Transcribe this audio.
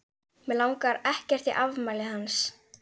Mig langar ekkert í afmælið hans.